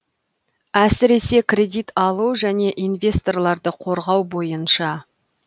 әсіресе кредит алу және инвесторларды қорғау бойынша